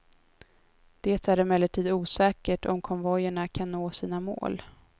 Det är emellertid osäkert om konvojerna kan nå sina mål.